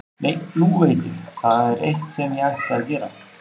Nei, nú veit ég, það er eitt sem ég ætti að gera.